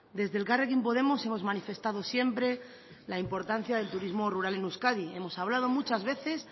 desde elkarrekin podemos hemos manifestado siempre la importancia del turismo rural en euskadi hemos hablado muchas veces